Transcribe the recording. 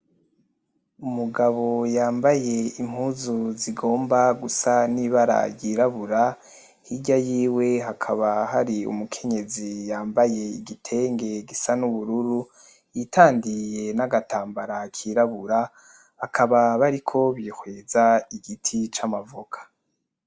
Umugabo yambaye impuzu zigomba gusa n'ibara ryirabura hirya yiwe hakaba hari umukenyezi yambaye igitenge gisa n'ubururu yitandiye n'agatambara kirabura bakaba bariko bihweza igiti c'amavoka.